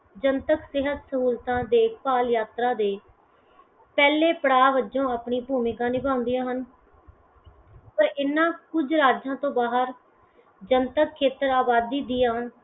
ਜਨਤਕ ਸਿਹਤ ਸਹੂਲਤਾਂ ਦੇਖ ਭਾਲ਼ ਯਾਤਰਾ ਦੇ ਪਹਿਲੇ ਪੜਾਅ ਵਜੋਂ ਆਪਣੇ ਭੂਮਿਕਾ ਨਿਭਾਉਂਦੀਆਂ ਹਨ। ਪਰ ਇਨ੍ਹਾਂ ਕੁੱਝ ਰਾਜਾਂ ਤੋਂ ਬਾਹਰ ਜਨਤਕ ਖੇਤਰ ਆਬਾਦੀ ਦੀਆਂ